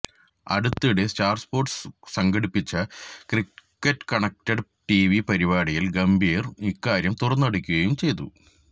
അടുത്തിടെ Star Sports സംഘടിപ്പിച്ച cricket connected TV പരിപാടിയില് ഗംഭീര് ഇക്കാര്യം തുറന്നടിക്കുകയും ചെയ്തു